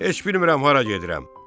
Heç bilmirəm hara gedirəm.